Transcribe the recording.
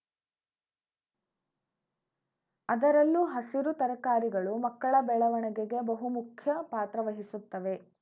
ಅದರಲ್ಲೂ ಹಸಿರು ತರಕಾರಿಗಳು ಮಕ್ಕಳ ಬೆಳವಣಿಗೆಗೆ ಬಹುಮುಖ್ಯ ಪಾತ್ರ ವಹಿಸುತ್ತವೆ